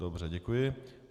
Dobře, děkuji.